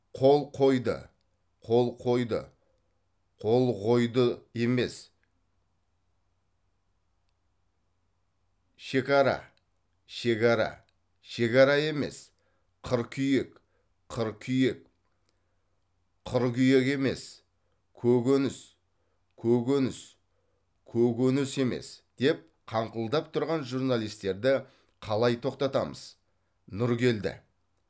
қол қойды қол қойды қолғойдұ емес шекара шекара шегара емес қыркүйек қыркүйек қыргүйөк емес көкөніс көкөніс көгөнүс емес деп қаңқылдап тұрған журналистерді қалай тоқтатамыз нұргелді